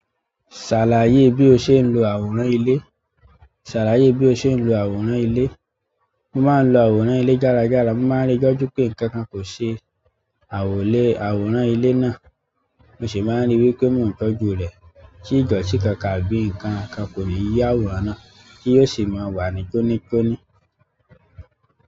Ṣàlàyé bí o ṣe ń lo àwòrán ilé. Ṣàlàyé bí o ṣe ń lo àwòrán ilé. Mo máa ń lo àwòrán ìle gára gára. Mo máa ń rí i dájú pé ǹkan kan kò ṣe àwò lé àwòrán ilé náà, mo sì máa ń rí i pé mo n tọ́jú rẹ̀. Tí idọti kankan àbí nǹkan kan kò ní yí àwòrán náà, ti yóò sì máa wà ní tóní tóní.